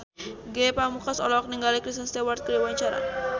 Ge Pamungkas olohok ningali Kristen Stewart keur diwawancara